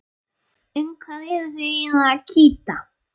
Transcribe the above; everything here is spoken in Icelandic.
Um hvað eruð þið eiginlega að kýta?